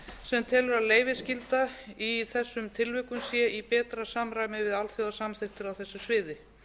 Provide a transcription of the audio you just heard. sem telur að leyfisskylda í þessum tilvikum sé í betra samræmi við alþjóðasamþykktir á þessu sviði